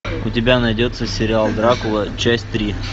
у тебя найдется сериал дракула часть три